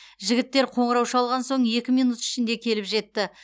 жігіттер қоңырау шалған соң екі минут ішінде келіп жетті